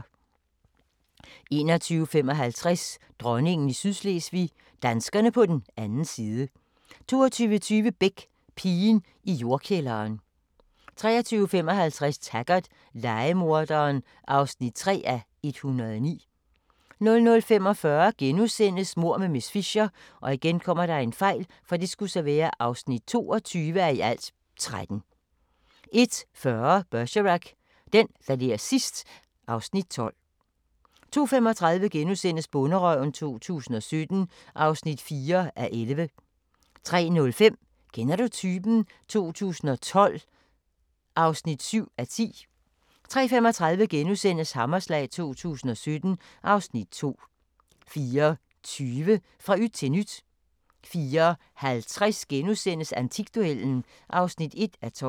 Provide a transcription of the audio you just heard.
21:55: Dronningen i Sydslesvig – danskerne på den anden side 22:20: Beck: Pigen i jordkælderen 23:55: Taggart: Lejemorderen (3:109) 00:45: Mord med miss Fisher (22:13)* 01:40: Bergerac: Den, der ler sidst ... (Afs. 12) 02:35: Bonderøven 2017 (4:11)* 03:05: Kender du typen? 2012 (7:10) 03:35: Hammerslag 2017 (Afs. 2)* 04:20: Fra yt til nyt 04:50: Antikduellen (1:12)*